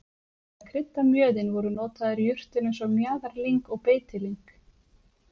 til að krydda mjöðinn voru notaðar jurtir eins og mjaðarlyng og beitilyng